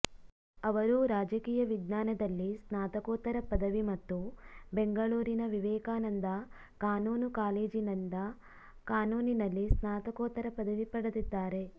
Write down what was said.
ಅವರು ರಾಜಕೀಯ ವಿಜ್ಞಾನದಲ್ಲಿ ಸ್ನಾತಕೋತ್ತರ ಪದವಿ ಮತ್ತು ಬೆಂಗಳೂರಿನ ವಿವೇಕಾನಂದ ಕಾನೂನು ಕಾಲೇಜಿನಿಂದ ಕಾನೂನಿನಲ್ಲಿ ಸ್ನಾತಕೋತ್ತರ ಪದವಿ ಪಡೆದಿದ್ದಾರೆ